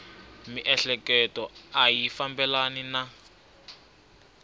miehleketo a yi fambelani na